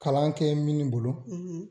Kalan kɛ mini bolo